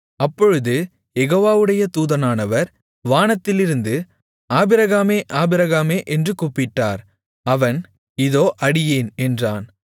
அப்பொழுது யெகோவாவுடைய தூதனானவர் வானத்திலிருந்து ஆபிரகாமே ஆபிரகாமே என்று கூப்பிட்டார் அவன் இதோ அடியேன் என்றான்